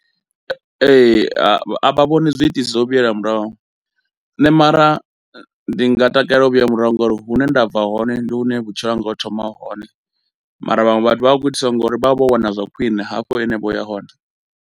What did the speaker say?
Ee, a vha vhoni zwiitisi zwo vhuyelwa murahu, nṋe mara ndi nga takalela u vhuya murahu ngauri hune nda bva hone ndi hune vhutshilo hanga ho thoma hone mara vhaṅwe vhathu vha khou itiswa ngauri vha vha vho wana zwa khwine hene vho ya hone.